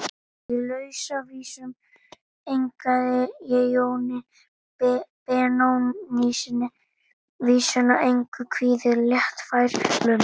Í Lausavísum eignaði ég Jóni Benónýssyni vísuna: Engu kvíðir léttfær lund.